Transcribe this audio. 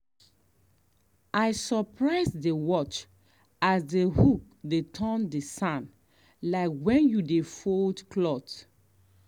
i surprise dey watch as the hoe dey turn the sand like when you dey fold cloth.